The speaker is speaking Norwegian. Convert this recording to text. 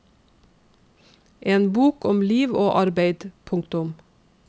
En bok om liv og arbeid. punktum